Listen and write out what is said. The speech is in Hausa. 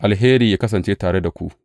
Alheri yă kasance tare da ku.